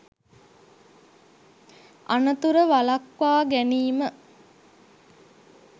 අනතුර වළක්වා ගැනීම